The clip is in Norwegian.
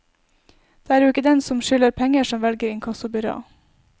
Det er jo ikke den som skylder penger som velger inkassobyrå.